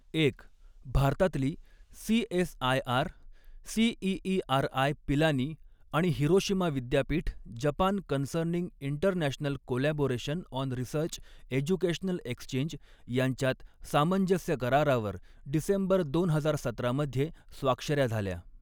एक भारतातली, CSIR CEERI, Pilani आणि हिरोशिमा विद्यापीठ, Japan concerning international collaboration on research, educational exchange यांच्यात सामंजस्य करारावर डिसेंबर दोन हजार सतरा मधे स्वाक्षऱ्या झाल्या.